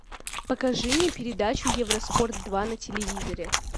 покажи мне передачу евроспорт два на телевизоре